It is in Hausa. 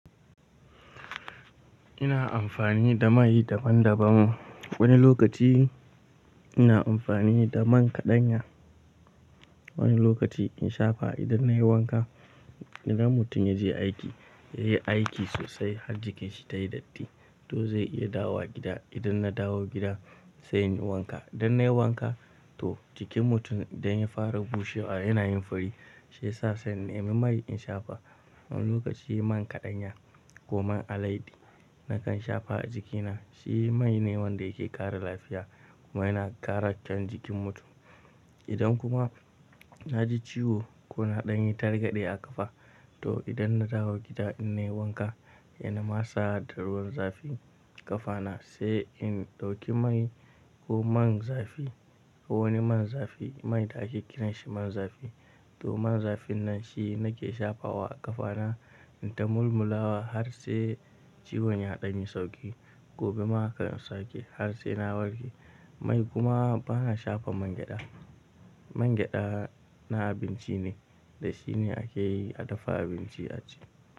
Ina amfani da mai daban-daban. Wani lokaci ina amfani da man kaɗanya, wani lokaci in shafa idan nayi wanka. Idan mutum ya je aiki, ya yi aiki sosai har jikinsa ta yi datti, to zai iya dawowa gida. Idan na dawo gida, sai in yi wanka. Idan nayi wanka, to jikin mutum idan ya fara bushewa yana yin fari, shi ya sa sai in nemi mai in shafa. Wani lokaci man kaɗanya ko man alaidi nakan shafa a jikina, shi mai ne wanda yake kara lafiya kuma yana kara kyaun jikin mutum. Idan kuma na ji ciwo ko na ɗan yi targaɗe a ƙafa, to idan na dawo gida in nayi wanka, hena masa da ruwan zafi. Ƙafana sai in ɗauki mai ko man zafi ko wani man zafi, mai da ake kiran shi man zafi, to man zafin nan shi nake shafawa a ƙafa na in ta mulmulawa har sai ciwon ya ɗan yi sauki. Gobe ma haka in sake har sai na warke. Mai kuma bana shafa man gyaɗa. Man gyaɗa na abinci ne, da shi ne ake yi a dafa abinci a aji.